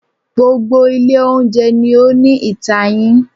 Gbogbo ilé oúnjẹ ni ó ní itayin.